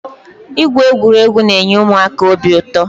Ịgwụ egwuregwu na-enye ụmụaka obi ụtọ.